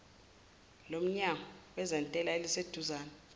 lomnyango wezentela eliseduzane